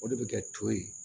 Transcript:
O de bɛ kɛ to ye